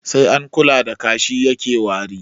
Sai an kula da kashi yake wari